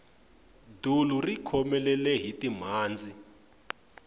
dulu ri khomelele hi timhandzi